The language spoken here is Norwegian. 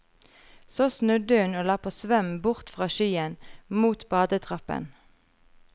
Så snudde hun og la på svøm bort fra skyen, mot badetrappen.